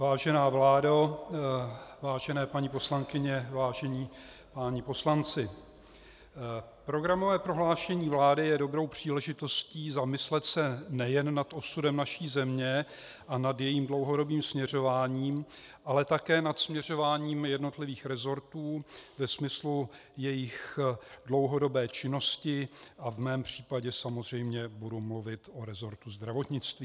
Vážená vládo, vážené paní poslankyně, vážení páni poslanci, programové prohlášení vlády je dobrou příležitostí zamyslet se nejen nad osudem naší země a nad jejím dlouhodobým směřováním, ale také nad směřováním jednotlivých resortů ve smyslu jejich dlouhodobé činnosti a v mém případě samozřejmě budu mluvit o resortu zdravotnictví.